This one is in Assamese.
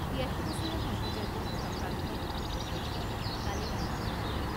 তিয়াশী বছৰীয়া সংগীতজ্ঞ তথা প্ৰাক্তন সাংসদগৰাকী কালি মৃত্যু হয়।